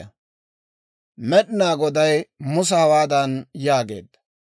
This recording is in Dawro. Med'inaa Goday Musa hawaadan yaageedda;